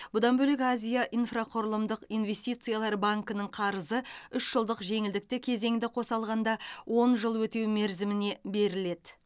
бұдан бөлек азия инфрақұрылымдық инвестициялар банкінің қарызы үш жылдық жеңілдікті кезеңді қоса алғанда он жыл өтеу мерзіміне беріледі